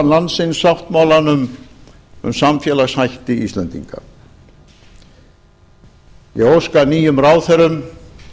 landsins sáttmálanum um samfélagshætti íslendinga ég óska nýjum ráðherrum